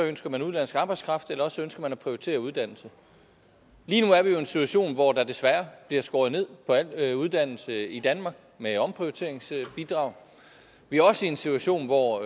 ønsker man udenlandsk arbejdskraft eller også ønsker man at prioritere uddannelse lige nu er vi jo i en situation hvor der desværre bliver skåret ned på al uddannelse i danmark med omprioriteringsbidraget vi er også i en situation hvor